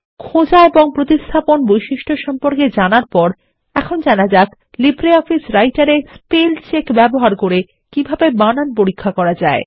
খোঁজা এবং প্রতিস্থাপন বৈশিষ্ট্য সম্পর্কে জানারপরেএখন জানা যাক লিব্রিঅফিসারাইটের এ স্পেল চেক ব্যবহার করেকিভাবেবানান পরীক্ষা করা যায়